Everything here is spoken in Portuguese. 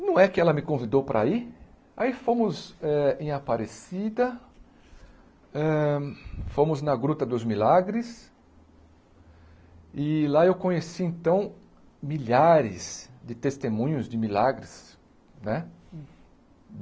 não é que ela me convidou para ir, aí fomos eh em Aparecida hã, fomos na Gruta dos Milagres, e lá eu conheci então milhares de testemunhos de milagres, né?